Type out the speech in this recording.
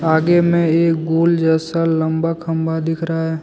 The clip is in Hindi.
आगे में एक गोल जैसा लंबा खंभा दिख रहा है।